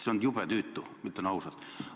See on jube tüütu, ütlen ausalt.